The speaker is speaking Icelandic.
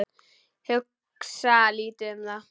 Hugsa lítið um það.